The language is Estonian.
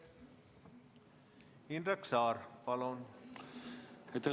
Indrek Saar, palun!